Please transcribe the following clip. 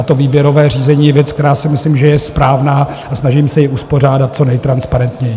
A to výběrové řízení je věc, která si myslím, že je správná, a snažím se ji uspořádat co nejtransparentněji.